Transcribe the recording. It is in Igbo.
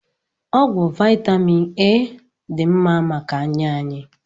Ọgwụ vitamin A dị mma maka anya anyị